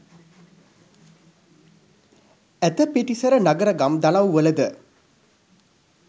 ඇත පිටිසර නගර ගම් දනව්වලද